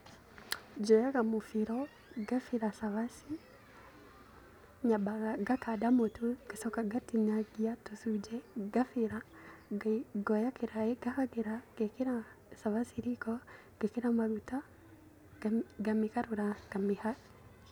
Njoyaga mũbĩro ngabĩra cabaci, nyambaga ngakanda mũtu ngacoka ngatũtinia tũcunjĩ ngacoka ngabĩra, ngoya kĩraĩ ngahagĩra ngerekĩra cabaci riko ngamĩgarũra.